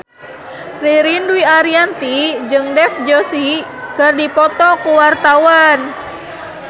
Ririn Dwi Ariyanti jeung Dev Joshi keur dipoto ku wartawan